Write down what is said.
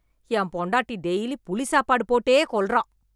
என் பொண்டாட்டி டெய்லி புளி சாப்பாடு போட்டே கொல்றா.